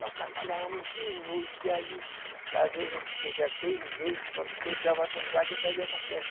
Nós trabalhava muito de noite, aí às vezes a gente chegava, teve vezes quando chegava com o gado ainda ia na festa.